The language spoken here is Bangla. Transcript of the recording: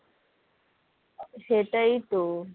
সেটাই তো